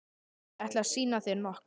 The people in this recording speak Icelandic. Ég ætla að sýna þér nokkuð.